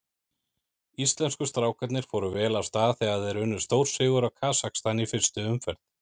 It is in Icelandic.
Íslensku strákarnir fóru vel af stað þegar þeir unnu stórsigur á Kasakstan í fyrstu umferð.